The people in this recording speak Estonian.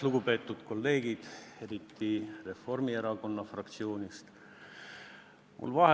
Lugupeetud kolleegid, eriti Reformierakonna fraktsioonist!